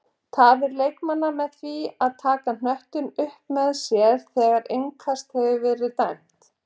Tafir leikmanna með því að taka knöttinn upp með sér þegar innkast hefur verið dæmt?